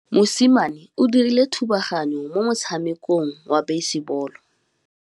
Mosimane o dirile thubaganyô mo motshamekong wa basebôlô.